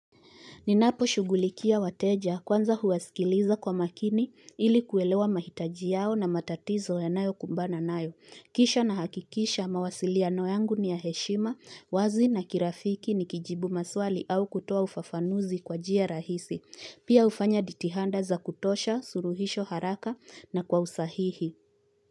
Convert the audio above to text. Ninapo shughulikia wateja kwanza huwaskiliza kwa makini ili kuelewa mahitaji yao na matatizo yanayo kumbana nayo. Kisha na hakikisha mawasiliano yangu ni ya heshima, wazi na kirafiki ni kijibu maswali au kutoa ufafanuzi kwa jia rahisi. Pia ufanya ditihanda za kutosha, suruhisho haraka na kwa usahihi.